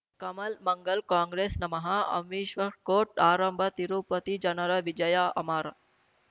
ಕಮಲ್ ಮಂಗಳ್ ಕಾಂಗ್ರೆಸ್ ನಮಃ ಅಮಿಷ್ವ್ ಕೋರ್ಟ್ ಆರಂಭ ತಿರುಪತಿ ಜನರ ವಿಜಯ ಅಮರ್